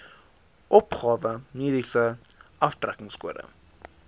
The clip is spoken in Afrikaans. opgawe mediese aftrekkingskode